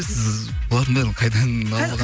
сіз бұлардан бәрін қайдан алып алған